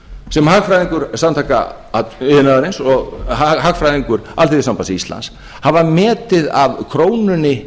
sem hagfræðingur samtaka iðnaðarins og hagfræðingur alþýðusambands íslands hafa metið af krónunni